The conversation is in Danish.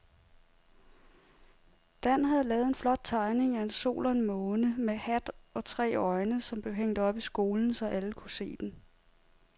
Dan havde lavet en flot tegning af en sol og en måne med hat og tre øjne, som blev hængt op i skolen, så alle kunne se den.